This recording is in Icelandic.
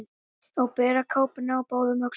Að bera kápuna á báðum öxlum